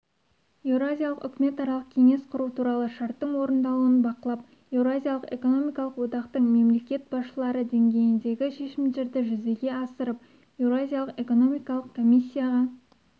еуразиялық үкіметаралық кеңес құру туралы шарттың орындалуын бақылап еуразиялық экономикалық одақтың мемлекет басшылары деңгейіндегі шешімдерді жүзеге асырып еуразиялық экономикалық комиссияға